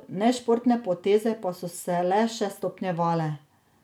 Nešportne poteze pa so se le še stopnjevale.